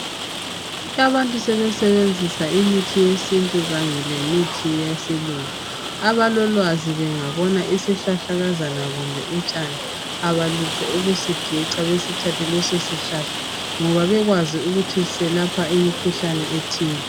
Abantu sebesenzisa imithi yesintu kanye lemithi yesilungu. Abalolwazi bangabona isihlahlakazana kumbe utshani abalutho ukusigeca besithathe leso sihlahla ngoba bekwazi ukuthi selapha imikhuhlane ethile.